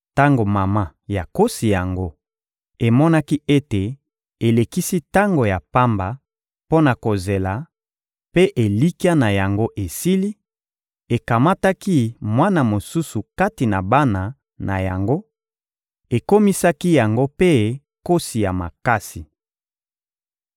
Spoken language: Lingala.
Tango mama ya nkosi yango emonaki ete elekisi tango ya pamba mpo na kozela mpe elikya na yango esili, ekamataki mwana mosusu kati na bana na yango, ekomisaki yango mpe nkosi ya makasi.